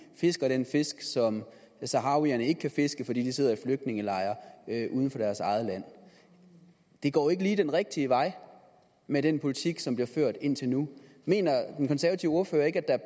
fisker den fisk som saharawierne ikke kan fiske fordi de sidder i flygtningelejre uden for deres eget land det går ikke lige den rigtige vej med den politik som bliver ført indtil nu mener den konservative ordfører ikke at